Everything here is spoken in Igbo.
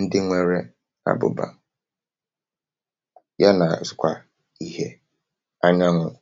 ndị nwėrė àbụ̀bà, ya nà sị̀kwà ihe anyanwụ̇.